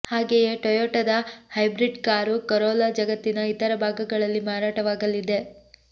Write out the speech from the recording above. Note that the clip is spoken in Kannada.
ಹಾಗೆಯೇ ಟೊಯೊಟದ ಹೈಬ್ರಿಡ್ ಕಾರು ಕರೋಲಾ ಜಗತ್ತಿನ ಇತರ ಭಾಗಗಳಲ್ಲಿ ಮಾರಾಟವಾಗಲಿದೆ